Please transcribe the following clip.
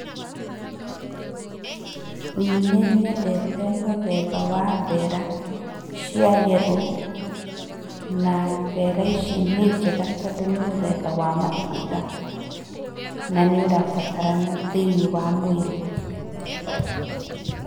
Nĩ nyendete mũthemba wa mbera cia yerũ na mbera ici nĩnjega tondũ nĩ mũthemba wa matunda. Nanĩurabatarana thĩiniĩ wa mwĩrĩ.